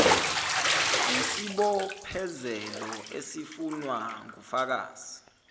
yisibophezelo esifunwa ngufakazi